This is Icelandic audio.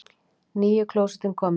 NÝJU KLÓSETTIN KOMIN!